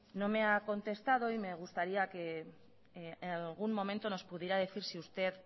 no me ha contestado y me gustaría en algún momento nos pudiera decir si usted